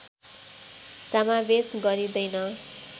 समावेश गरिँदैन